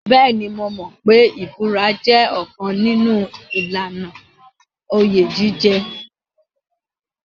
Bẹ́ẹ̀ni, mo mọ̀ pé ìbúra jẹ́ ọ̀kan nínú ìlànà oyè jíjẹ.